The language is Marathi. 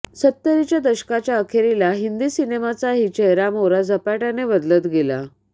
सत्तरीच्या दशकाच्या अखेरीला हिंदी सिनेमाचाही चेहरामोहरा झपाट्याने बदलत गेला